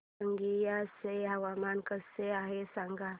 रंगिया चे हवामान कसे आहे सांगा